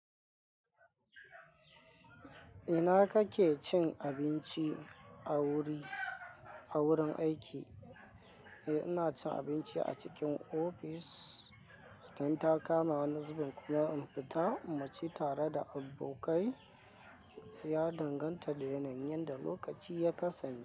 Ina kake cin abinci a wuri a wurin aiki? Eh, ina cin abinci a cikin ofis. Idan takama kuma wani zubin kuma infita muci tare da abokai. Ya danganta da yanayin da lokaci ya kasani.